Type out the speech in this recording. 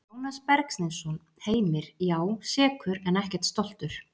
Jónas Bergsteinsson Heimir: Já, sekur en ekkert stoltur.